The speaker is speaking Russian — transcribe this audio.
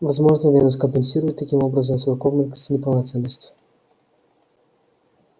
возможно венус компенсирует таким образом свой комплекс неполноценности